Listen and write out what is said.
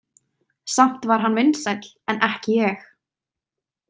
Samt var hann vinsæll en ekki ég.